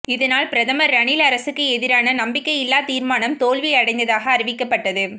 இதனால் பிரதமர் ரணில் அரசுக்கு எதிரான நம்பிக்கையில்லா தீர்மானம் தோல்வி அடைந்ததாக அறிவிக்கப்பட்டது